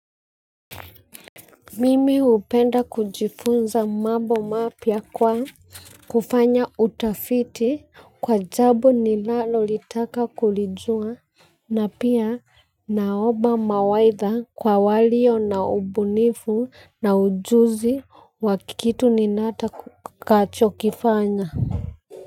Mimi hupenda kujifunza mambo mapia kwa kufanya utafiti kwa jambo ni nalolitaka kulijua. Na pia naoba mawaidha kwa walio na ubunifu na ujuzi wa kitu nitakacho kifanya.